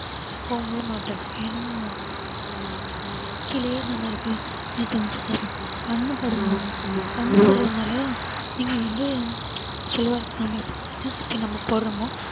போகவே மாட்டுது ஏன்னா கீழயே தான இருக்கு என்ன சொல்றது கண்ணுபடுமா கண்ணு படுறதுனால நீங்க வந்து சொல்லுவாரு நம்ம எப்படி திருஷ்டி சுத்தி நம்ம போடுறோமோ